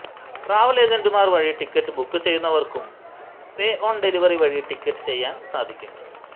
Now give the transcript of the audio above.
travel ഏജന്റുമാർ വഴി ticket book ചെയ്യുന്നവർക്കും പേ ഓൺ ഡെലിവറി വഴി ടിക്കറ്റ് ചെയ്യാൻ സാധിക്കും